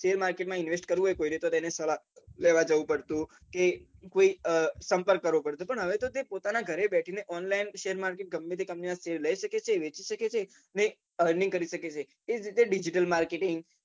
શેરબજાર માં invest કરવું હોય તો સલાહ લેવા જવું પડતું કે કોઈ સંપર્ક કરવો પડતો પણ હવે તો પોતાના ઘરે બેઠીને online ગમેતે company ના શેર લઇ શકે છે એ રીતે digital marketing